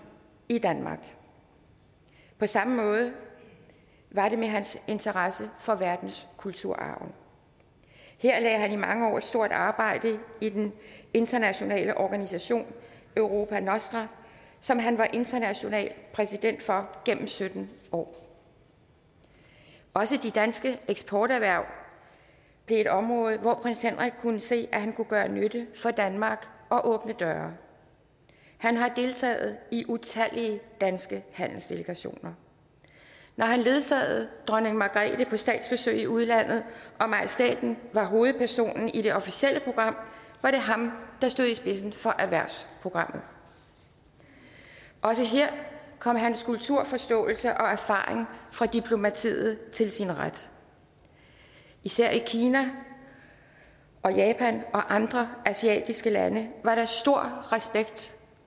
i danmark på samme måde var det med hans interesse for verdenskulturarven her lagde han i mange år et stort arbejde i den internationale organisation europa nostra som han var international præsident for gennem sytten år også de danske eksporterhverv blev et område hvor prins henrik kunne se at han kunne gøre nytte for danmark og åbne døre han har deltaget i utallige danske handelsdelegationer når han ledsagede dronning margrethe på statsbesøg i udlandet og majestæten var hovedpersonen i det officielle program var det ham der stod i spidsen for erhvervsprogrammet også her kom hans kulturforståelse og erfaring fra diplomatiet til sin ret især i kina og japan og andre asiatiske lande var der stor respekt